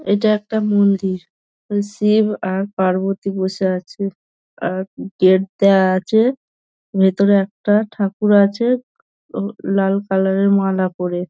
এটা একটা মন্দির। শিব আর পার্বতী বসে আছে। আর গেট দেওয়া আছে। ভেতরে একটা ঠাকুর আছে ও লাল কালার - এর মালা পড়ে --